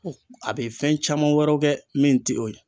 A be fɛn caman wɛrɛw kɛ min ti o ye